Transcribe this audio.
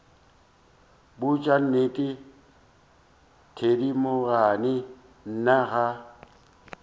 botša nnete thedimogane nna ga